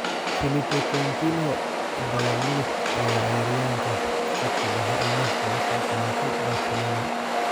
Philippe Coutinho: Bayern Munich ayaa ciyaaryahanka khadka dhexe amaah kaga soo qaadatay Barcelona